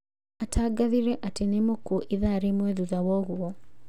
Atangathĩre atĩ nĩmũkuo ithaa rĩmwe thutha woguo